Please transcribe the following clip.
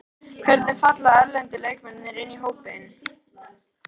Hvernig falla erlendu leikmennirnir inn í hópinn?